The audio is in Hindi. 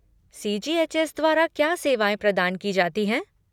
सी.जी.एच.एस. द्वारा क्या सेवाएँ प्रदान की जाती हैं।